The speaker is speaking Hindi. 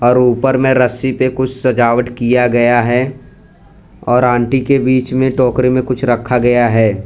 और ऊपर में रस्सी पे कुछ सजावट किया गया है और आंटी के बीच में टोकरी में कुछ रखा गया है।